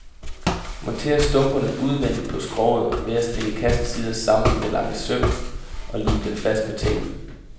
Monter stumperne udvendigt på skroget ved at stikke kassens sider sammen med lange søm, og lim den fast med tapen.